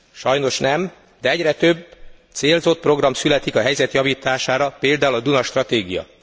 Sajnos nem, de egyre több célzott program születik a helyzet javítására például a Duna stratégia.